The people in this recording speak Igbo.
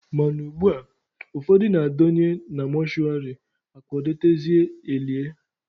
Mana ugbua, ụfọdụ na-adọnye na mọshụwarị, akwadotezie elie.